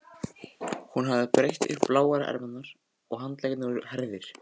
Hún hafði brett upp bláar ermarnar og handleggirnir voru hærðir.